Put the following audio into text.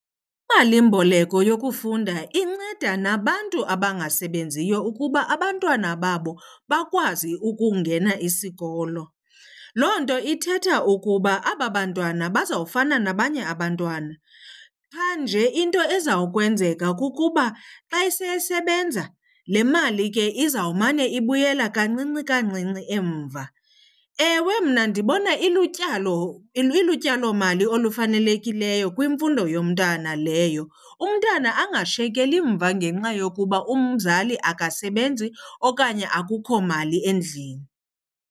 Imalimboleko yokufunda inceda nabantu abangasebenziyo ukuba abantwana babo bakwazi ukungena isikolo. Loo nto ithetha ukuba aba bantwana bazawufumana nabanye abantwana. Qha nje into ezawukwenzeka kukuba xa esesebenza le mali ke izawumane ibuyela kancinci kancinci emva. Ewe, mna ndibona ilutyalomali olufanelekileyo kwimfundo yomntana leyo. Umntana angashiyekeli mva ngenxa yokuba umzali akasebenzi okanye akukho mali endlini.